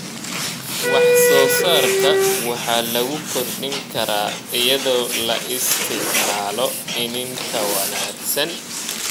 Wax-soo-saarka waxa lagu kordhin karaa iyadoo la isticmaalo iniin ka wanaagsan.